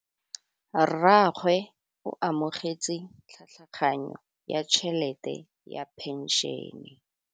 Rragwe o amogetse tlhatlhaganyô ya tšhelête ya phenšene.